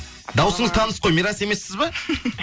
дауысыңыз таныс қой мирас емессіз ба